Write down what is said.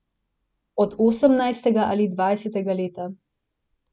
Od osemnajstega ali dvajsetega leta.